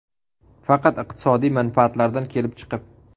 Faqat iqtisodiy manfaatlardan kelib chiqib.